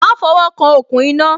Má fo wo kan okùn iná